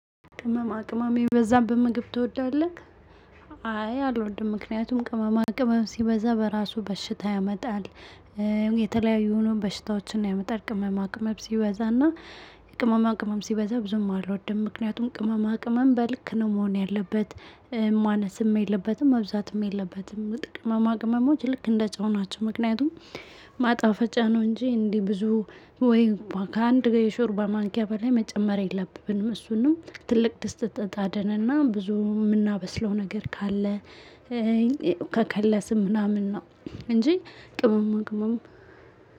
ቅመም አቅመም የበዛት ምግብ ትወዳለህ? አይ አልወድም ምክንያቱም ቅመም አቅመም ሲበዛ በራሱ በሽታ ያመጣል። የተለያዩ ሆኖ በሽታዎችን ያመጣል ቅመማ ቅመብ ሲበዛና። ቅመማ ቅመም ሲበዛ ብዙም አለው አደም ምክንያቱም ቅመማ ቅመም በልክ ነው መሆን ያለበት። ማነስም የለበትም መብዛትም የለበትም ጥቅመማ ማቅመሞች ልክ እንደ ጨውናቸው ምክንያቱም። ማጣፈጫ ነው እንጂ እንዲህ ብዙ ወይ ከአንድ ጋር የሾርባ ማንኪያ በላይ መጨመር የለብንም እሱንም ትልቅ ድስት ተጣድንና ብዙ የምናበስለው ነገር ካለ። እኮ ከከለስን ምናምን ነው። እንጂ ቅመማ ቅመሙ